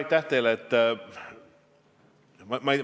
Aitäh teile!